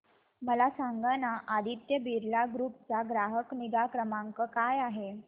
मला सांगाना आदित्य बिर्ला ग्रुप चा ग्राहक निगा क्रमांक काय आहे